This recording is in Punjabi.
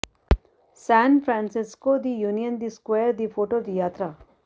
ਸਾਨ ਫਰਾਂਸਿਸਕੋ ਦੀ ਯੂਨੀਅਨ ਸਕਵੇਅਰ ਦੀ ਫੋਟੋ ਦੀ ਯਾਤਰਾ